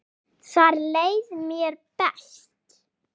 Þar leið mér best.